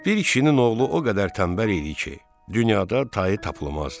Bir kişinin oğlu o qədər tənbəl idi ki, dünyada tayı tapılmazdı.